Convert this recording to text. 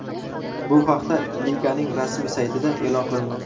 Bu haqda liganing rasmiy saytida e’lon qilindi .